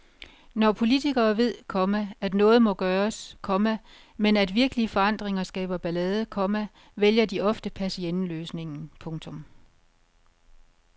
Når politikere ved, komma at noget må gøres, komma men at virkelige forandringer skaber ballade, komma vælger de ofte persienneløsningen. punktum